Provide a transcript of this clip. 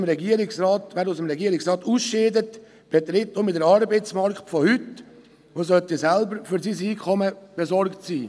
Wer aus dem Regierungsrat ausscheidet, betritt dann den Arbeitsmarkt von heute und sollte selber für sein Einkommen besorgt sein.